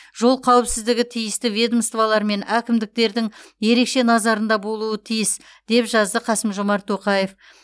жол қауіпсіздігі тиісті ведомстволар мен әкімдіктердің ерекше назарында болуы тиіс деп жазды қасым жомарт тоқаев